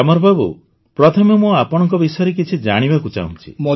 ଗ୍ୟାମର୍ ବାବୁ ପ୍ରଥମେ ମୁଁ ଆପଣଙ୍କ ବିଷୟରେ କିଛି ଜାଣିବାକୁ ଚାହୁଁଛି